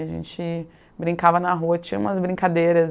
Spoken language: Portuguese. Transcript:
A gente brincava na rua, tinha umas brincadeiras